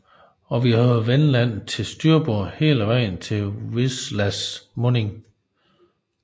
Og vi havde Vendland til styrbord hele vejen til Wislas munding